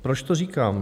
Proč to říkám.